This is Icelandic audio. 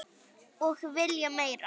Og vilja meira.